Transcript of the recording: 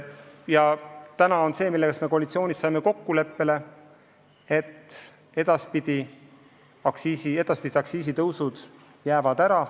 Ja veel saime koalitsioonis kokkuleppele, et edaspidised aktsiisitõusud jäävad ära.